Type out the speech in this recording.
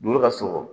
Olu ka sogo